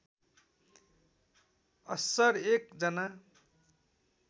अस्सर एक जना